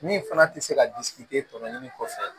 Min fana tɛ se ka tɔmɔnni kɔfɛ